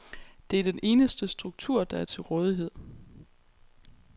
Det er den eneste struktur, der er til rådighed.